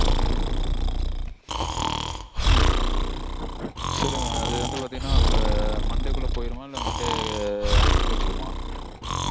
சொல்லுங்க mam அது வந்து பாத்தீங்கனா இப்போ monday -க்குள்ள போயிருமா இல்ல monday afternoon -குள்ள போகுமா?